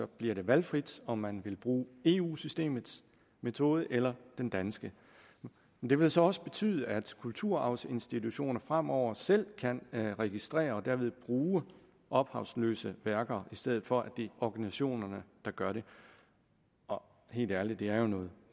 bliver det valgfrit om man vil bruge eu systemets metode eller den danske det vil så også betyde at kulturarvsinstitutioner fremover selv kan registrere og derved bruge ophavsløse værker i stedet for at det er organisationerne der gør det helt ærligt det er jo noget